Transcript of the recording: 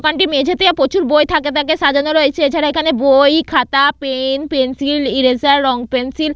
দোকানটির মেঝেতে প্রচুর বই থাকে থাকে সাজানো রয়েছে এছাড়া এখানে বই খাতা পেন পেন্সিল ইরেজার রং পেন্সিল --